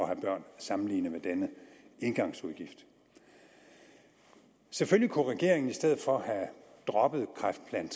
have børn sammenlignet med denne engangsudgift selvfølgelig kunne regeringen i stedet for have droppet kræftplan